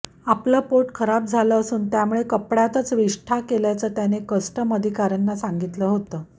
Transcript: आपलं पोट खराब झालं असून त्यामुळे कपड्यातच विष्ठा केल्याचं त्याने कस्टम अधिकाऱ्यांना सांगितलं होतं